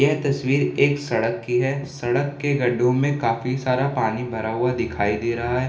यह तस्वीर एक सड़क की है सड़क के गड्ढों में काफी सारा पानी भरा हुआ दिखाई दे रहा है।